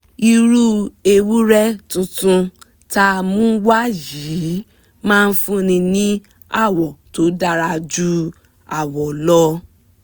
irú ewúrẹ́ túntún tá mú wá yìí máa fúnni ní áwọ tó dára ju áwọ lọ